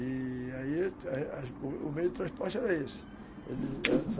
E aí o meio de transporte era esse